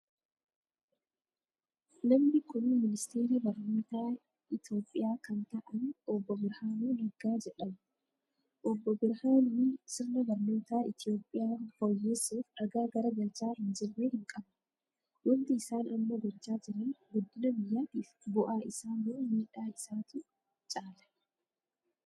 Namni kun ministeera barnootaa Itoophiyaa kan ta'an obbo Birhaanuu Naggaa jedhamu. Obbo Birhaanuun sirna barnootaa Itoophiyaa fooyyessuuf dhagaa garagalchaa hin jirre hin qaban. Wanti isaan amma gochaa jiran guddina biyyattiif bu'aa isaa moo miidaa isaatu caala?